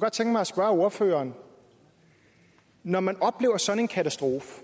godt tænke mig at spørge ordføreren når man oplever sådan en katastrofe